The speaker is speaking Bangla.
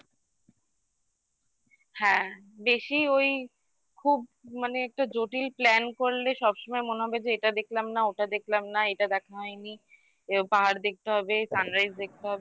হ্যাঁ বেশি ওই খুব মানে একটা জটিল plan করলে সব সময় মনে হবে যে এটা দেখলাম না ওটা দেখলাম না এটা দেখা হয়নি এবার পাহাড় দেখতে হবে sunrise দেখতে হবে